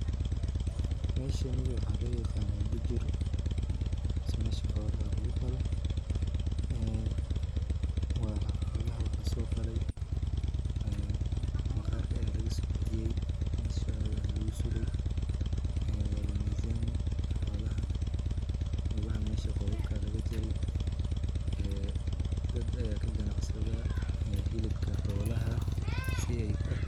Meshani waxaa loo yaqanaa bujur mase meesha xoolaha lagu qalo. waa xoolaha waa lasoo qalay ,maqaarka ayaa lagasoo bixiyay ,meeshoda ayaa lagu suray, waa la miizaami xoolaha ,lugaha meesha qoobabkaa laga jari ,ee dad ayaa ka ganacsada ee hilibka xoolaha .